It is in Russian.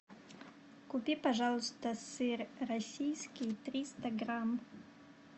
купи пожалуйста сыр российский триста грамм